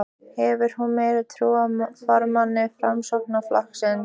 Hefur hún meiri trú á formanni Framsóknarflokksins?